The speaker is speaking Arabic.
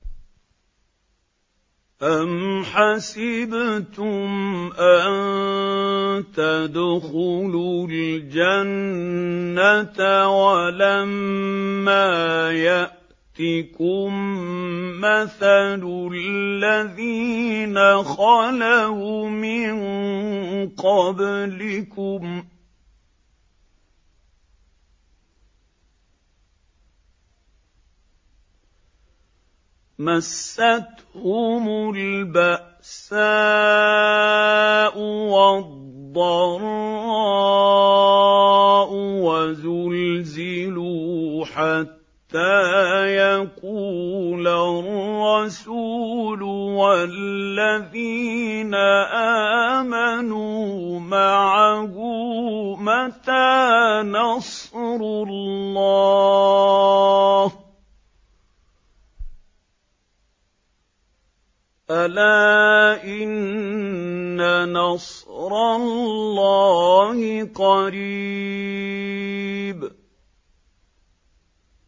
أَمْ حَسِبْتُمْ أَن تَدْخُلُوا الْجَنَّةَ وَلَمَّا يَأْتِكُم مَّثَلُ الَّذِينَ خَلَوْا مِن قَبْلِكُم ۖ مَّسَّتْهُمُ الْبَأْسَاءُ وَالضَّرَّاءُ وَزُلْزِلُوا حَتَّىٰ يَقُولَ الرَّسُولُ وَالَّذِينَ آمَنُوا مَعَهُ مَتَىٰ نَصْرُ اللَّهِ ۗ أَلَا إِنَّ نَصْرَ اللَّهِ قَرِيبٌ